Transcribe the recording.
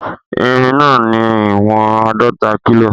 Irin náà ní ìwọ̀n àádọta kílò